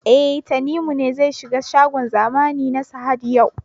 E, Tanimu ne zai shiga shagon zamani na Sahad yau.